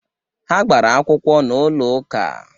Ha gbara akwụkwọ n'ụlọ ụka